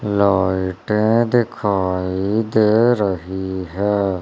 लाइटें दिखाई दे रही है।